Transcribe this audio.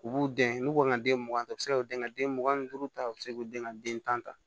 U b'u den n'u ka den mugan ta u bɛ se k'u den ka den mugan ni duuru ta u bɛ se k'u den ka den tan ta